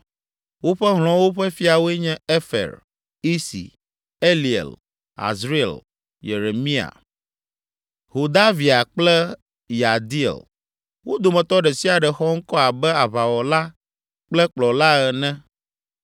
Woƒe hlɔ̃wo ƒe fiawoe nye Efer, Isi, Eliel, Azriel, Yeremia, Hodavia kple Yahdiel. Wo dometɔ ɖe sia ɖe xɔ ŋkɔ abe aʋawɔla kple kplɔla ene.